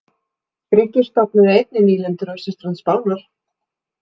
Grikkir stofnuðu einnig nýlendur á austurströnd Spánar.